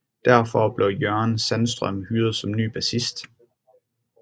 Derfor blev Jörgen Sandström hyret som ny bassist